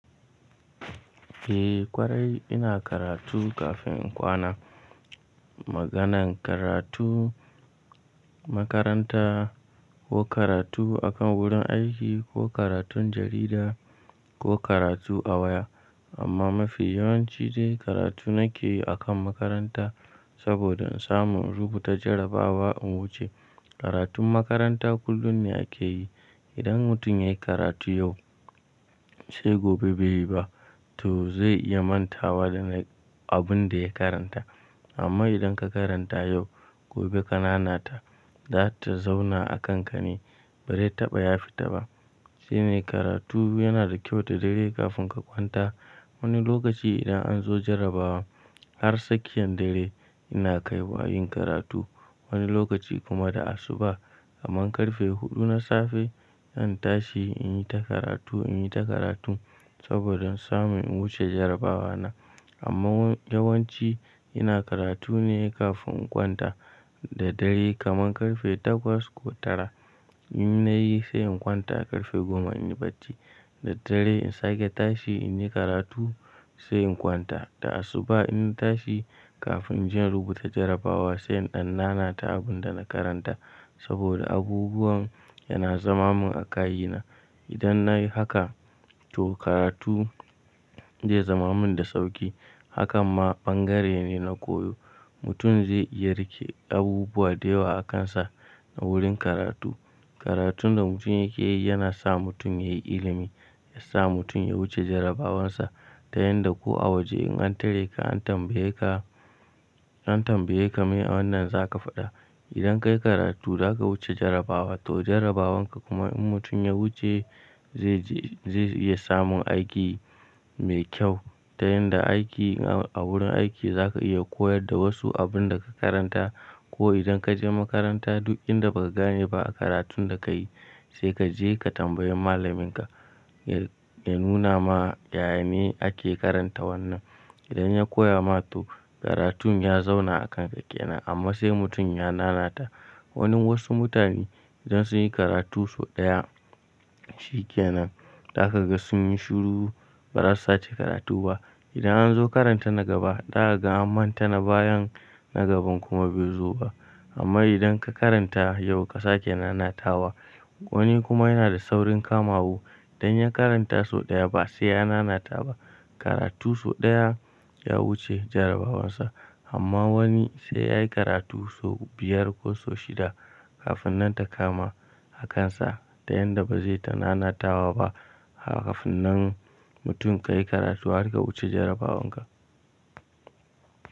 Eh ƙwarai ina karatu kafin in kwana. Maganan karatu makaranta ko karatu akan wurin aiki ko karatun jarida ko karatu a waya. Amma mafi yawanci dai karatu nake yi akan makaranta saboda in samu in rubuta jarabawa in wuce. Karatun makaranta kullum ne ake yi. Idan mutum ya yi karatu yau sai gobe bai yi ba to zai iya manta wa da abun da ya karanta. Amma idan ka karanta yau gobe ka nanata za ta zauna a kanka ne bai taɓa ya fita ba. Shine karatu yana da kyau ta dare kafin ka kwanta. Wani lokaci idan an zo jarabawa har sakiyan dare ina kai wa yin karatu. Wani lokaci kuma da asuba kaman karfe huɗu na safe in tashi in yi ta karatu, in yi ta karatu saboda in sami wuce jarabawa na. Amma yawanci ina karatu ne kafin in kwanta da dare kaman karfe takwas ko tara. In nayi sai in kwanta karfe goma in yi bacci. Da dare in sake tashi in yi karatu sai in kwanta. Da asuba in tashi kafin inje in rubuta jarabawa sai in ɗan nanata abun da na karanta saboda abubuwan yana zama man a kayi na. Idan nayi haka to karatu zai zama min da sauƙi hakan ma ɓangare ne na koyo. Mutum zai iya riƙe abubuwa da yawa a kansa na wurin karatu. Karatun da mutum yake yi yana sa mutum ya yi ilimi, ya sa mutum ya wuce jarabawansa. Ta yanda ko a waje in an tare ka an tambaye ka, an tambaye ka me wannan za ka faɗa. Idan ka yi karatu za ka wuce jarabawa to jarabawan ka kuma in mutum ya wuce zai je, zai iya samun aiki mai kyau. Ta yanda aiki a wurin aiki za ka iya koyar da wasu abun da ka karanta ko idan ka je makaranta duk inda baka gane ba a karatun da kayi sai ka je ka tambayi malaminka ya nuna ma yaya ne ake karanta wannan. Idan ya koya ma to karatun ya zauna a kanka kenan amma sai mutum ya nanata. Wanin wasu mutane idan sun yi karatu sau ɗaya shi kenan. Zaka ga sun yi shiru ba za su sake karatu ba. Idan an zo karanta na gaba daga ga an manta na bayan na gaban kuma bai zo ba. Amma idan ka karanta yau ka sake nanatawa wani kuma yana da saurin kamababu idan ya karanta sau ɗaya ba sai ya nanata ba. Karatu sau ɗaya ya wuce jarabawansa amma wani sai yayi karatu sau biyar ko sau shida kafin nan ta kama a kansa ta yanda ba zai ta nanatawa ba. Kafinnan mutum ka yi karatu har ka wuce jarabawan ka.